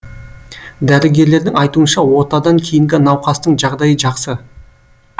дәрігерлердің айтуынша отадан кейінгі науқастың жағдайы жақсы